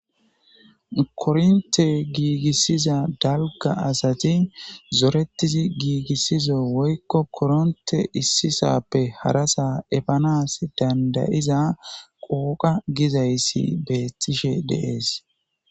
kornte giigissiza dalga asati zorettizi giigissizo woykko koronte issisappe harasa epanas dandayiza qooqa gizayssi beettishe deees